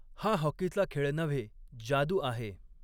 हा हॉकीचा खेळ नव्हे, जादू आहे.